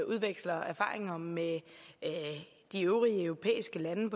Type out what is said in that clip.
udveksler erfaringer med de øvrige europæiske lande